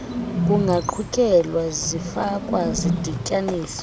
kungaqhutyeka zifakwa zidityaniswa